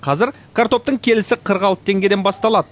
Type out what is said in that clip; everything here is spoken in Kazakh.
қазір картоптың келісі қырық алты теңгеден басталады